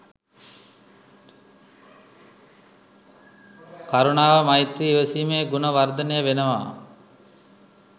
කරුණාව, මෛත්‍රිය, ඉවසීමේ ගුණ වර්ධනය වෙනවා.